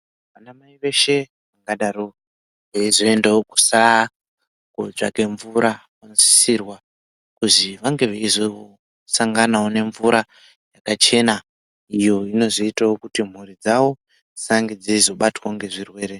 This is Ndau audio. Vanamai veshe vangadaro veizoendawo kusara kutsvake mvura vanotsitirwa kuti vange veizosanganawo nemvura yakachena iyo inozoitawo kuti mhuri dzawo dzisabatwawo ngezvirwere.